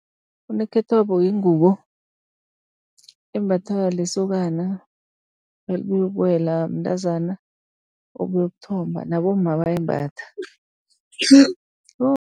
Unokhethwabo yingubo embathwa lisokana nalibuyokuwela, mntazana obuyokuthomba nabomma bayayimbatha.